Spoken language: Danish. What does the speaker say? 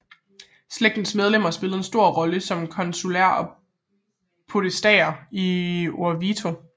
Slægtens medlemmer spillede en stor rolle som konsuler og podestaer i Orvieto